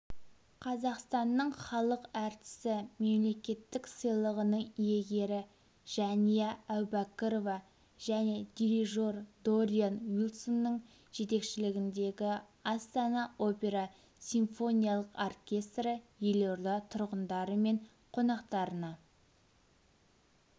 қазақстанның халық әртісі мемлекеттік сыйлығының иегері жәния әубәкірова және дирижер дориан уилсонның жетекшілігіндегі астана опера симфониялық оркестрі елорда тұрғындары мен қонақтарына